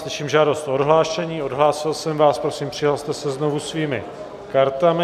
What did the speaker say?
Slyším žádost o odhlášení, odhlásil jsem vás, prosím, přihlaste se znovu svými kartami.